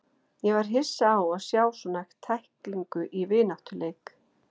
Ég var hissa á að sjá svona tæklingu í vináttuleik.